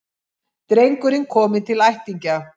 Drengurinn kominn til ættingja